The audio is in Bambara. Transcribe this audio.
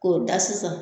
K'o da sisan